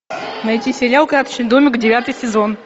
найти сериал карточный домик девятый сезон